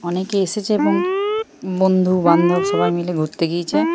অনেকে এসেছে এবং বন্ধুবান্ধব সবাই মিলে ঘুরতে গিয়েছে ।